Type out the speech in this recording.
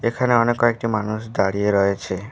এখানে অনেক কয়েকটি মানুষ দাঁড়িয়ে রয়েছে।